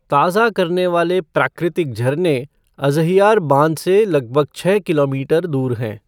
ताज़ा करने वाले प्राकृतिक झरने अज़हियार बाँध से लगभग छः किलोमीटर दूर हैं।